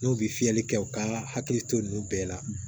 N'u bɛ fiyɛli kɛ u ka hakili to ninnu bɛɛ la